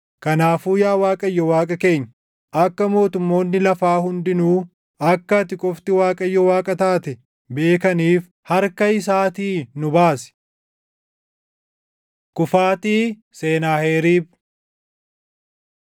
Kanaafuu yaa Waaqayyo Waaqa keenya, akka mootummoonni lafaa hundinuu akka ati qofti Waaqayyo Waaqa taate beekaniif, harka isaatii nu baasi.” Kufaatii Senaaheriib 37:21‑38 kwf – 2Mt 19:20‑37; 2Sn 32:20‑21